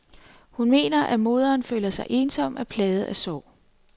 Hun mener, at moderen føler sig ensom og er plaget af sorg.